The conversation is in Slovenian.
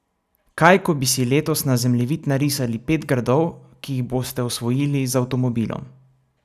Kaj ko bi si letos na zemljevid narisali pet gradov, ki jih boste osvojili z avtomobilom?